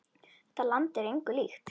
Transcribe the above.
Þetta land er engu líkt.